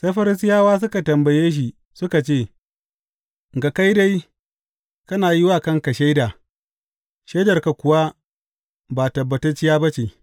Sai Farisiyawa suka tambaye shi suka ce, Ga kai dai, kana yi wa kanka shaida, shaidarka kuwa ba tabbatacciya ba ce.